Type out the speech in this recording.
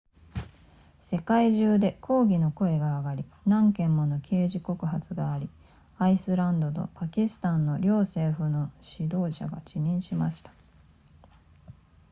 世界中で抗議の声が上がり何件もの刑事告発がありアイスランドとパキスタンの両政府の指導者が辞任しました